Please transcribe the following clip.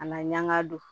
A na ɲaga don